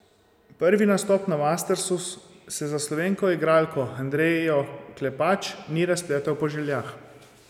Prvi nastop na mastersu se za slovensko igralko Andrejo Klepač ni razpletel po željah.